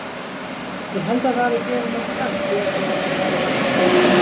Ég held að það hafi gefið mér kraft í öllum þessum veikleika.